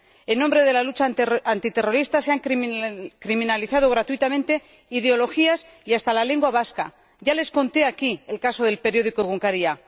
En nombre de la lucha antiterrorista se han criminalizado gratuitamente ideologías y hasta la lengua vasca. Ya les conté aquí el caso del periódico Egunkaria